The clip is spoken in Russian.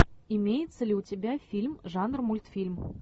имеется ли у тебя фильм жанр мультфильм